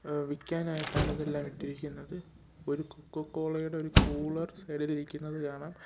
എഹ് വിക്കാനായിട്ടാണ് ഇതെല്ലാം ഇട്ടിരിക്കുന്നത് ഒരു കൊക്കക്കോളയുടെ ഒര് കൂളർ സൈഡിലിരിക്കുന്നത് കാണാം.